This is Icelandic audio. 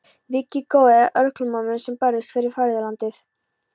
Víkið góðu að örkumlamönnum sem börðust fyrir föðurlandið.